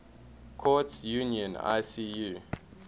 courts union icu